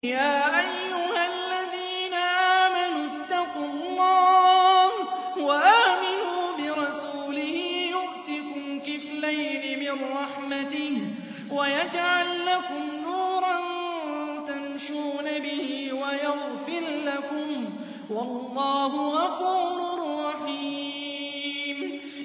يَا أَيُّهَا الَّذِينَ آمَنُوا اتَّقُوا اللَّهَ وَآمِنُوا بِرَسُولِهِ يُؤْتِكُمْ كِفْلَيْنِ مِن رَّحْمَتِهِ وَيَجْعَل لَّكُمْ نُورًا تَمْشُونَ بِهِ وَيَغْفِرْ لَكُمْ ۚ وَاللَّهُ غَفُورٌ رَّحِيمٌ